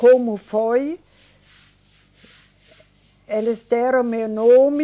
Como foi, eles deram meu nome,